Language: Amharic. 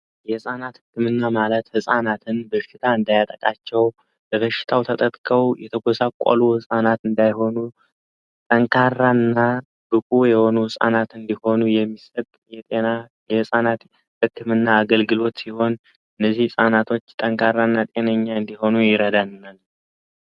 የህፃናት ህክምና ማለት ጻናትን በሽታ እንዳያጠቃቸው በበሽታው ተጠከው ህጻናት እንዳይሆኑና ህፃናት እንዲሆኑ የሚገና የህፃናት ህክምና አገልግሎት ይሆን እንዲሆኑ ይረዳናል